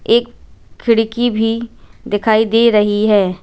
एक खिड़की भी दिखाई दे रही है।